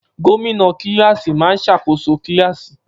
Gómìnà kílààsì máa ń ṣàkóso kílààsì